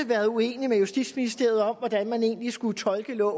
været uenig med justitsministeriet om hvordan man egentlig skulle tolke det